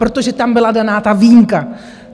Protože tam byla daná ta výjimka.